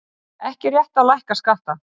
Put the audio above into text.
Ekki rétt að lækka skatta